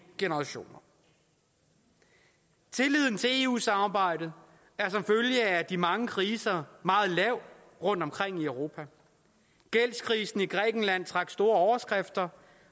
generationer tilliden til eu samarbejdet er som følge af de mange kriser meget lav rundtomkring i europa gældskrisen i grækenland trak store overskrifter